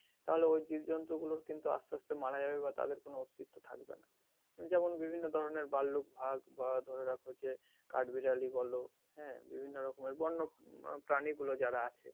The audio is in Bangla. তাহলে ওই জীবজন্তু কিন্তু আসতে আসতে মারা যাবে বা তাদের কোনো অস্তিত্ব থাকবে না যেমন বিভিন্ন ধরনের ভাল্লুক বাঘ বা ধরে রাখো যে কাঠবিড়ালি বলো হ্যাঁ বিভিন্ন রকমের বন্য প্রানী গুলো যারা আছে,